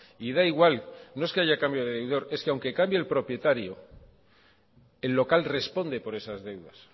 y da igual no es que haya cambio de deudor es que aunque cambie el propietario el local responde por esas deudas